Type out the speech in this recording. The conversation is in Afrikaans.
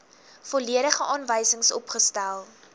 volledige aanwysings opgestel